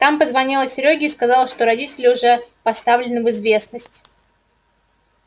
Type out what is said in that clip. там позвонила серёге и сказала что родители уже поставлены в известность